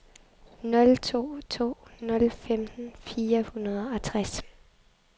nul to to nul femten fire hundrede og tres